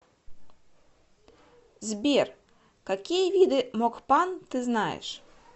сбер какие виды мокпан ты знаешь